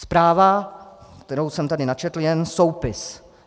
Zpráva, kterou jsem tady načetl, je jen soupis.